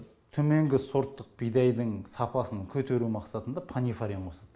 төменгі сорттық бидайдың сапасын көтеру мақсатында панифарин қосады